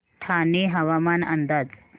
ठाणे हवामान अंदाज